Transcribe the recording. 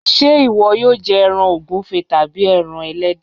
Ṣé ìwọ yóò jẹ ẹran ògúnfe tàbí ẹran ẹlẹ́dẹ̀?